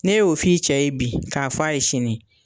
N'e y'o f'i cɛ ye bi ka fɔ a ye sini